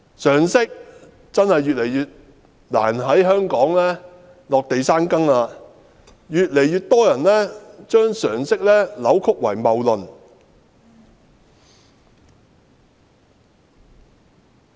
常識真的越來越難在香港落地生根，越來越多人將常識扭曲為謬論。